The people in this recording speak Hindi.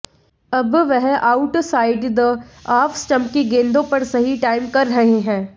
अब वह outside the off stump की गेंदों पर सही टाइम कर रहे हैं